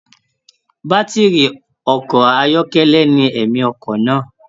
Batiri ọkọ ayọkẹlẹ ní ẹ̀mi ọkọ náà.